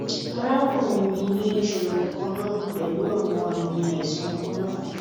arakunrin mi ni iṣoro kanna pẹlu awọn aami aisan kanna